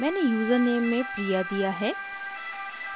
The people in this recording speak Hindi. मैंने यूज़रनेम में priya दिया है